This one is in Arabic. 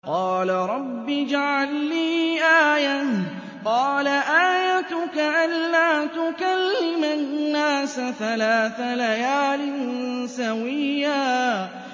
قَالَ رَبِّ اجْعَل لِّي آيَةً ۚ قَالَ آيَتُكَ أَلَّا تُكَلِّمَ النَّاسَ ثَلَاثَ لَيَالٍ سَوِيًّا